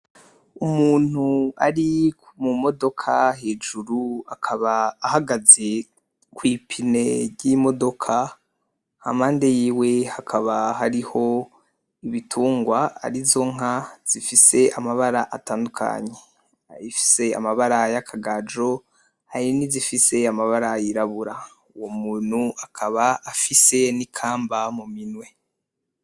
Umuntu ari mu modoka hejuru akaba ahagaze kwipine ryimodoka hampande yiwe hakaba hariho ibitungwa arizo nka zifise amabara atandukanye, iyifise amabara yakagajo, ayirabura uwo muntu akaba afise nikamba mu minwe.